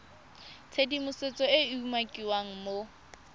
tshedimosetso e e umakiwang mo